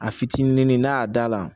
A fitinin n'a y'a da la